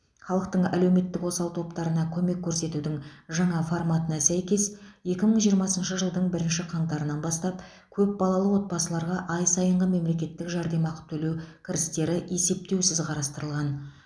халықтың әлеуметтік осал топтарына көмек көрсетудің жаңа форматына сәйкес екі мың жиырмасыншы жылдың бірінші қаңтарынан бастап көпбалалы отбасыларға ай сайынғы мемлекеттік жәрдемақы төлеу кірістерді есептеусіз қарастырылған